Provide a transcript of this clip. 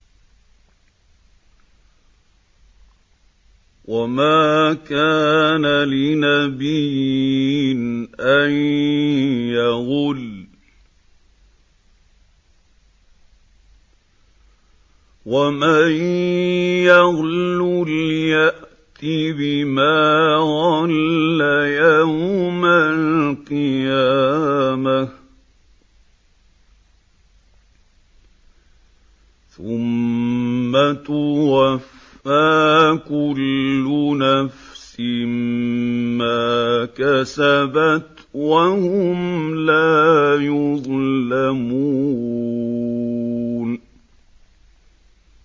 وَمَا كَانَ لِنَبِيٍّ أَن يَغُلَّ ۚ وَمَن يَغْلُلْ يَأْتِ بِمَا غَلَّ يَوْمَ الْقِيَامَةِ ۚ ثُمَّ تُوَفَّىٰ كُلُّ نَفْسٍ مَّا كَسَبَتْ وَهُمْ لَا يُظْلَمُونَ